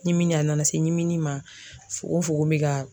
ɲimini a nana se ɲimini ma fugonfugon be ka